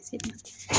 Segu